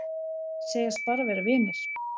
Segjast bara vera vinir